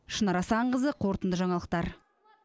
шынар асанқызы қорытынды жаңалықтар